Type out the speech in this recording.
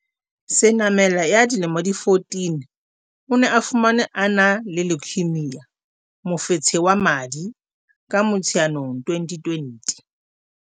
Senamela ya dilemo di 14, o ne a fumanwe a na le leukaemia, mofetshe wa madi, ka Motsheanong 2020.